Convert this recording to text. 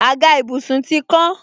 Àga ìbùsùn ti kán